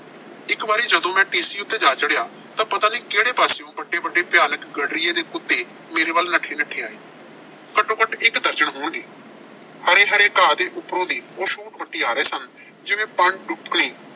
ਇੱਕ ਵਾਰੀ ਜਦੋਂ ਮੈਂ ਟੀਸੀ ਉਤੇ ਜਾ ਚੜਿਆ ਤਾਂ ਪਤਾ ਨਹੀਂ ਕਿਹੜੇ ਪਾਸਿਓਂ ਵੱਡੇ-ਵੱਡੇ ਭਿਆਨਕ ਗੱਡਰੀਏ ਦੇ ਕੁੱਤੇ ਮੇਰੇ ਵੱਲ ਨੱਠੇ-ਨੱਠੇ ਆਏ। ਘੱਟੋ-ਘੱਟ ਇੱਕ ਦਰਜਨ ਹੋਣਗੇ। ਹਰੇ-ਹਰੇ ਘਾਹ ਉੱਤੋਂ ਦੀ ਉਹ ਸ਼ੂਟ ਵੱਟੀ ਆ ਰਹੇ ਸਨ ਜਿਵੇਂ